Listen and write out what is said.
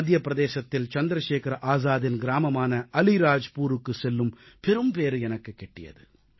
மத்திய பிரதேசத்தில் சந்திரசேகர ஆசாதின் கிராமமான அலீராஜ்புருக்கு செல்லும் பெரும்பேறு எனக்குக் கிட்டியது